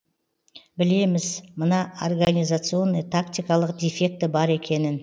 білеміз мына организационный тактикалық дефекті бар екенін